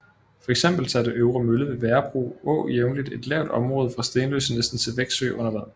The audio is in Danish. Fx satte Øvre Mølle ved Værebro å jævnligt et lavt område fra Stenløse næsten til Veksø under vand